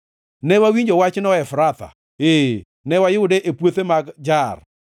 Ne wawinjo wachno Efratha, ee, ne wayude e puothe mag Jaar: